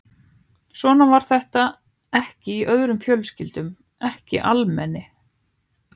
Svona var þetta ekki í öðrum fjölskyldum, ekki almenni